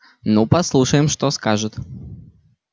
ну послушаем что скажет